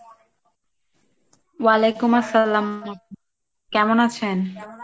ওয়ালাইকুম আসসালাম, কেমন আছেন?